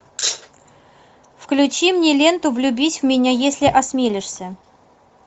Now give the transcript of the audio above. включи мне ленту влюбись в меня если осмелишься